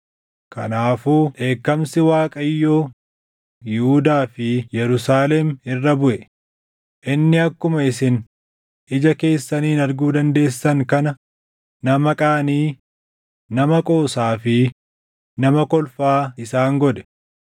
Kanaafuu dheekkamsi Waaqayyoo Yihuudaa fi Yerusaalem irra buʼe; inni akkuma isin ija keessaniin arguu dandeessan kana nama qaanii, nama qoosaa fi nama kolfaa isaan godhe.